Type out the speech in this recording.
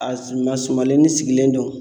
A ma sumalenin sigilen don.